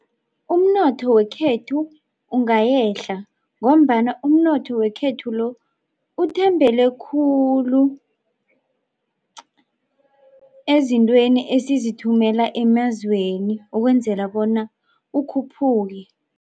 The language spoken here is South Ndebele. Umnotho wekhethu ungayehla ngombana umnotho wekhethu lo uthembele khulu ezintweni esizithumela emazweni ukwenzela bona ukhuphuke.